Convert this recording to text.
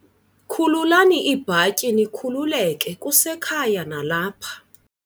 Khululani iibhatyi nikhululeke, kusekhaya nalapha.